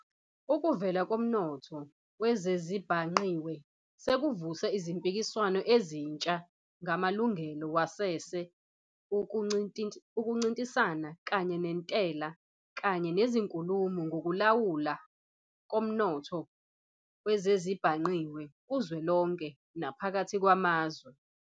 Ukuvela komnotho wezezibhangqiwe sekuvuse izimpikiswano ezintsha ngamalungelo wasese, ukuncintisana, kanye nentela, kanye nezinkulumo ngokulawulwa komnotho wezezibhangqiwe kuzwelonke naphakathi kwamazwe.